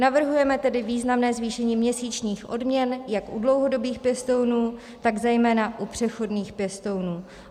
Navrhujeme tedy významné zvýšení měsíčních odměn jak u dlouhodobých pěstounů, tak zejména u přechodných pěstounů.